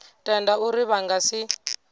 tenda uri vha nga si